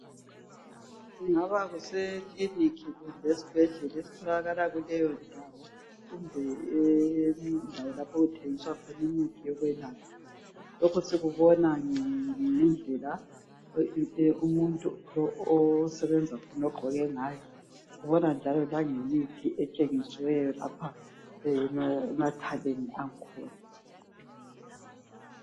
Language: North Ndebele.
Ingaba sekilinika kumbe isibhedlela esitholakala kuleyo ndawo, kumbe indawo lapho okuthengiselwa khona imithi yokwelapha. Lokho sikubona ngendlela umuntu osebenza khona agqoke ngayo, ubona njalo langemithi etshengisiweyo lapha emathakeni akhona.